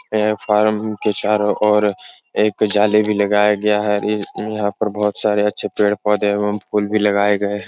यह फारम के चारों ओर एक जाली भी लगाया गया है। ईर यहाँ पर बोहोत सारे अच्छे पेड़-पौधे एवं फूल भी लगाये गये हैं।